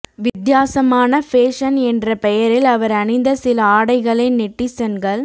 வித்யாசமான fashion என்ற பெயரில் அவர் அணிந்த சில ஆடைகளை நெட்டிசன்கள்